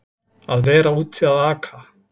Að vera úti að aka